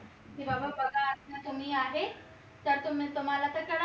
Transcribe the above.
बघा आता तुम्ही आहे तर तुम्ही तुम्हाला तर करायला